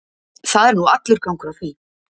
Það er nú allur gangur á því.